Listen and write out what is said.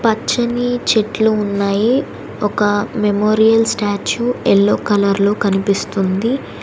పచ్చని చెట్లు ఉన్నాయి ఒక మెమోరియల్ స్టాచ్యు యెల్లో కలర్లో కనిపిస్తుంది.